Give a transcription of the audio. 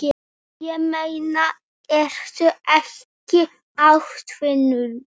Ég meina, ertu ekki atvinnu